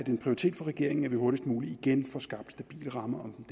en prioritet for regeringen at vi hurtigst muligt igen får skabt stabile rammer om